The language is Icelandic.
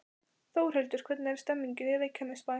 Þórhildur, hvernig er stemningin í Reykjanesbæ?